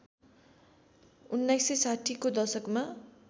१९६० को दशकमा